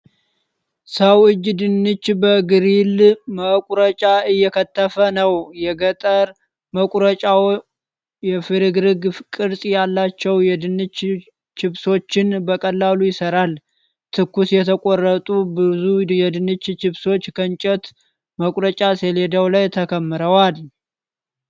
ሰው እጅ ድንች በግሪል መቁረጫ እየከተፈ ነው። የገጠር መቁረጫው የፍርግርግ ቅርፅ ያላቸውን የድንች ቺፖችን በቀላሉ ይሠራል። ትኩስ የተቆረጡ ብዙ የድንች ቺፕስ ከእንጨት መቁረጫ ሰሌዳ ላይ ተከምረዋል።